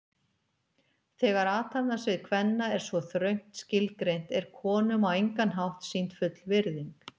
Þegar athafnasvið kvenna er svo þröngt skilgreint er konum á engan hátt sýnd full virðing.